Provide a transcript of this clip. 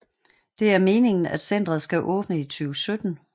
Det er meningen at centret skal åbne i 2017